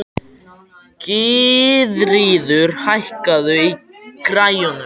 Gyðríður, hækkaðu í græjunum.